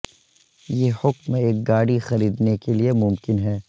یہ حکم ایک گاڑی خریدنے کے لئے ممکن ہے